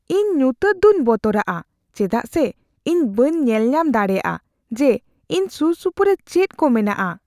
ᱤᱧ ᱧᱩᱛᱟᱹᱛ ᱫᱩᱧ ᱵᱚᱛᱚᱨᱟᱜᱼᱟ ᱪᱮᱫᱟᱜ ᱥᱮ ᱤᱧ ᱵᱟᱹᱧ ᱧᱮᱞᱧᱟᱢ ᱫᱟᱲᱮᱭᱟᱜᱼᱟ ᱡᱮ ᱤᱧ ᱥᱩᱨᱼᱥᱩᱯᱩᱨᱮ ᱪᱮᱫ ᱠᱚ ᱢᱮᱱᱟᱜᱼᱟ ᱾